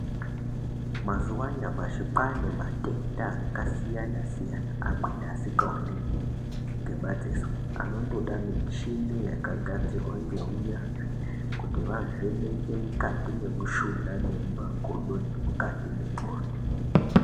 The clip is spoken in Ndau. Mazuwa anyamashi kwaane matenda akasiyana siyana amweni asikaoneki ngemadziso anondoda michini yakagadzirwe ngeunyanzvi kuti vavheneke mukati mwemushuna nemumakodo nemukati mwendxondo.